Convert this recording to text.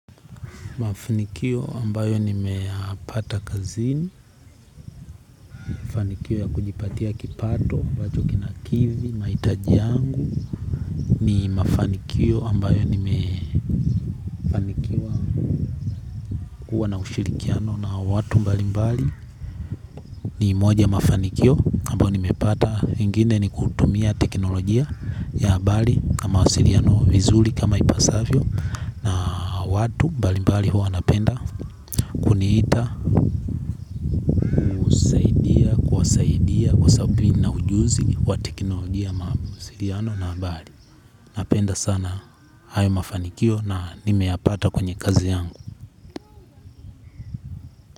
Mafanikio ambayo nimeyapata kazini, mafanikio ya kujipatia kipato, ambacho kinakidhi, mahitaji yangu, ni mafanikio ambayo nimekuwa na ushirikiano na watu mbali mbali ni moja ya mafanikio ambayo nimepata ingine ni kutumia teknolojia ya mbali na mawasiriano vizuli kama ipasavyo na watu mbali mbali huwa wanapenda kuniita ujuzi wa teknolojia ama mawasiriano na bali. Napenda sana hayo mafanikio na nimeyapata kwenye kazi yangu.